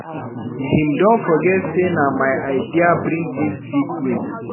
Him don forget sey na my idea bring dis big win.